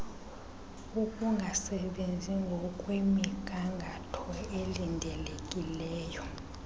ukungasebenzi ngokwemnigangatho elindelekileyo